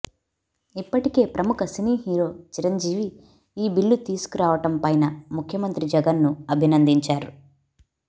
ఇప్పటికే ప్రముఖ cine hero Chiranjeevi ఈ బిల్లు తీసుకురావటం పైన ముఖ్యమంత్రి జగన్ ను అభినందించారు